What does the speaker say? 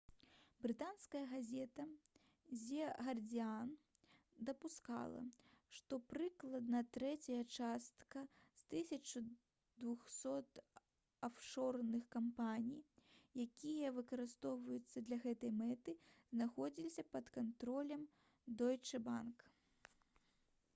брытанская газета «зэ гардзіан» дапускала што прыкладна трэцяя частка з 1200 афшорных кампаній якія выкарыстоўваліся для гэтай мэты знаходзілася пад кантролем «дойчэ банк»